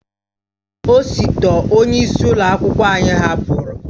Osote onye isi ụlọ akwụkwọ anyị hapụrụ.